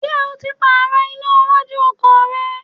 Ṣé o ti Pààrọ̀ iná iwájú ọkọ̀ rẹ?